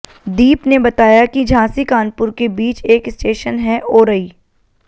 दीप ने बताया कि झांसी कानपुर के बीच एक स्टेशन है ओरई